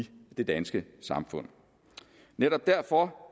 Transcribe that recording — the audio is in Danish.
det danske samfund netop derfor